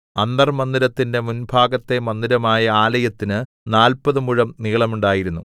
അന്തർമ്മന്ദിരത്തിന്റെ മുൻഭാഗത്തെ മന്ദിരമായ ആലയത്തിന് നാല്പത് മുഴം നീളമുണ്ടായിരുന്നു